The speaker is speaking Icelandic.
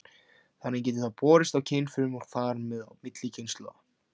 Þannig getur það borist í kynfrumur og þar með á milli kynslóða.